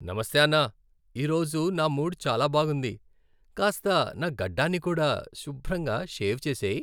నమస్తే అన్న. ఈరోజు నా మూడ్ చాలా బాగుంది. కాస్త నా గడ్డాన్ని కూడా శుభ్రంగా షేవ్ చేసేయ్.